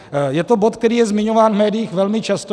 Je to bod, který je zmiňován v médiích velmi často.